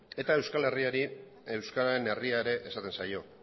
eta euskal herriari euskararen herria ere esaten zaio